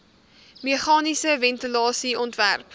meganiese ventilasie ontwerp